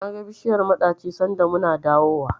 Naga bishiyar maɗaci sanda muna dawowa.